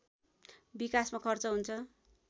विकासमा खर्च हुन्छ